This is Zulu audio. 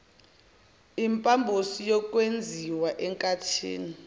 impambosi yokwenziwa enkathini